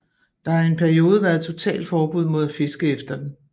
Der har i en periode været totalforbud mod at fiske efter den